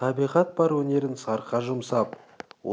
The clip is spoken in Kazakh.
табиғат бар өнерін сарқа жұмсап